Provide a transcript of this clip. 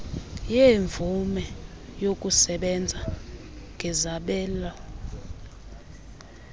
yeemvume zokusebenza ngezabelo